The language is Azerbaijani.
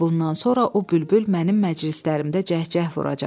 Və bundan sonra o bülbül mənim məclislərimdə cəhcəh vuracaq.